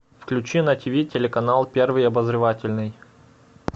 включи на тв телеканал первый обозревательный